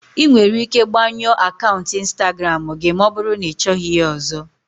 Ị nwere ike gbanyụọ akaụntụ Instagramu gị ma ọ bụrụ na ịchọghị ya ọzọ.